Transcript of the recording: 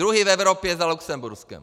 Druzí v Evropě za Lucemburskem.